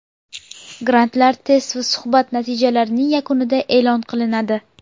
Grantlar test va suhbat natijalarining yakunida elon qilinadi.